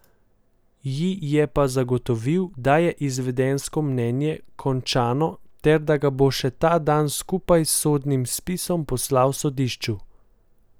Ji je pa zagotovil, da je izvedensko mnenje končano ter da ga bo še ta dan skupaj s sodnim spisom poslal sodišču.